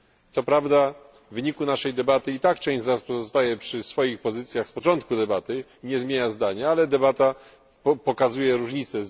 Co prawda w wyniku naszej debaty i tak część z nas pozostaje przy swoich pozycjach z początku debaty, nie zmieniając zdania, ale debata pokazuje te różnice.